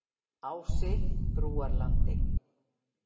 Ási Brúarlandi